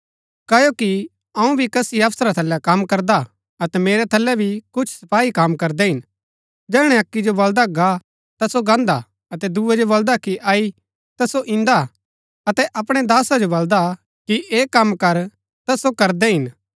क्ओकि अऊँ भी कसी अफसरा थलै कम करदा अतै मेरै थलै भी कुछ सपाई कम करदै हिन जैहणै अक्की जो बलदा गा ता सो गान्दा अतै दूये जो बलदा कि अई ता सो इन्दा अतै अपणै दासा जो बलदा कि ऐह कम कर ता सो करदै हिन